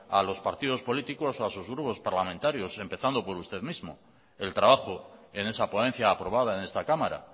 a los partidos políticos o a sus grupos parlamentarios empezando por usted mismo el trabajo en esa ponencia aprobada en esta cámara